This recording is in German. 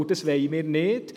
Das wollen wir nicht.